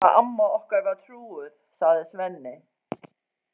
Já, ég man hvað amma okkar var trúuð, segir Svenni.